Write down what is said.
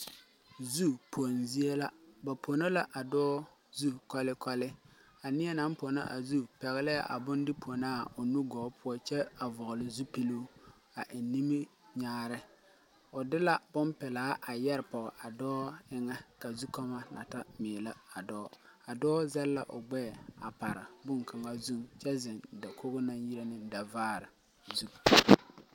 Zu pong zie la ba pono la a dɔɔ zu kɔlekɔle a nie naŋ pono a zu pɛglɛɛ bonde ponaa o nugɔɔ poɔ kyɛ a vɔgle zupiluu eŋ niminyaare o de la bon pilaa a yɛre poge a dɔɔ eŋɛ ka zu kɔɔmɔ na ta meelɛ a dɔɔ a dɔɔ zɛle la o gbɛɛ a pare bonkaŋa zu kyɛ zeŋ dakoge naŋ yire ne da vaare zu.